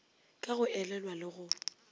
ka go elelwa le go